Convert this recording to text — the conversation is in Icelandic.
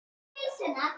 Það er auðsótt mál.